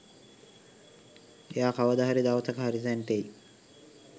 එයා කවදා හරි දවසක හරි තැනට එයි.